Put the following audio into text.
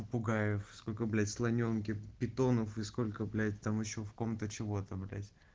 попугаев сколько блять слонёнков питонов и сколько блять там ещё кому-то чего-то блять